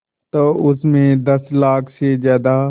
तो उस में दस लाख से ज़्यादा